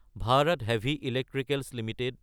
Bharat Heavy Electricals Ltd